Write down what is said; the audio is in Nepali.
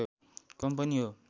कम्पनी हो